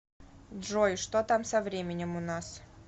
джой что там со временем у нас